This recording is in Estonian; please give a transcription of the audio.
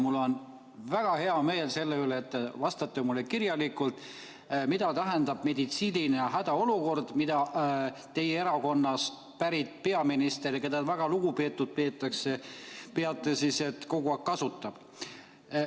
Mul on väga hea meel selle üle, et te vastate mulle kirjalikult, mida tähendab meditsiinilise hädaolukorra termin, mida teie erakonnast pärit peaminister, keda väga lugupeetuks peetakse, kogu aeg kasutab.